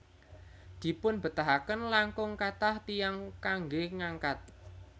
Dipunbetahaken langkung kathah tiyang kanggé ngangkat